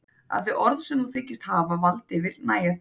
Að þau orð sem þú þykist hafa vald yfir nægja þér ekki.